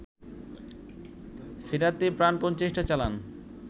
ফেরাতে প্রাণপন চেষ্টা চালান